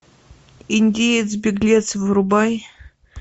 индеец беглец врубай